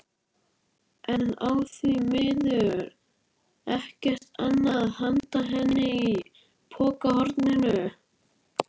En á því miður ekkert annað handa henni í pokahorninu.